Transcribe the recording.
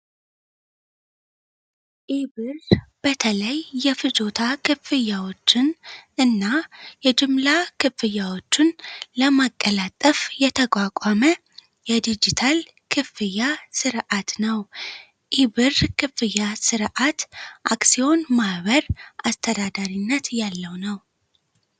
ኢብር በተለይ የፍጆታ ክፍያዎችንና የጅምላ ክፍያዎችን ለማቀላጠፍ የተቋቋመ የዲጂታል ክፍያ ስርአት ነው። ኢብር የዲጂታል ክፍያ ስርዓት የባለ አክሲዮኖች ማህበር አስተዳደር ስርዓት ያለው ነው።